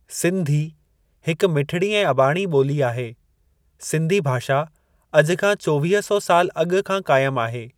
सिंधी हिक मिठड़ी ऐं अॿाणी ॿोली आहे सिंधी भाषा अॼु खां चोवीह सौ साल अॻु खां काइम आहे।